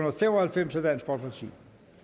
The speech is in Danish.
og fem og halvfems af